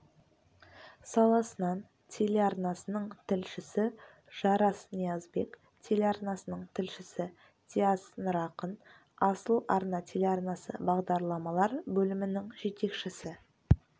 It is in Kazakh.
саласынан телеарнасының тілшісі жарас ниязбек телеарнасының тілшісі диас нұрақын асыл арна телеарнасы бағдарламалар бөлімінің жетекшісі